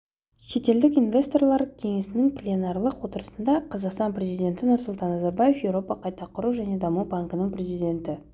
шетелдік инвесторлар кеңесінің пленарлық отырысында қазақстан президенті нұрсұлтан назарбаев еуропа қайта құру және даму банкінің президенті